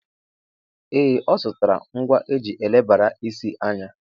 Ee, ọ zụtara ngwa eji elebara isi anya.